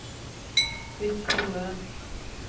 Bytt til Word